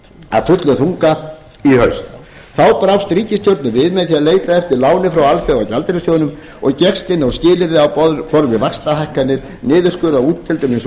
af fullum þunga í haust þá brást ríkisstjórnin við með því að leita eftir láni frá alþjóðagjaldeyrissjóðnum og gekkst inn á skilyrði á borð við vaxtahækkanir niðurskurð á útgjöldum hins